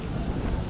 Ayağı necədir?